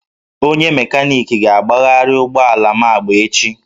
Onye mekaniki ga-agbagharị ụgbọ ala m agba echi